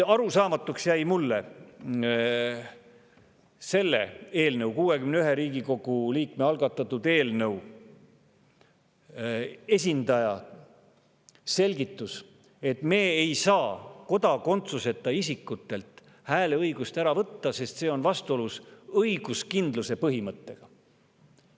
Arusaamatuks jäi mulle selle eelnõu, 61 Riigikogu liikme algatatud eelnõu esindaja selgitus, et me ei saa kodakondsuseta isikutelt hääleõigust ära võtta, sest see on vastuolus õiguskindluse põhimõttega.